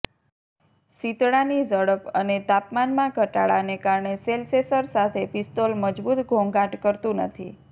શીતળાની ઝડપ અને તાપમાનમાં ઘટાડાને કારણે શેલ્સેસર સાથે પિસ્તોલ મજબૂત ઘોંઘાટ કરતું નથી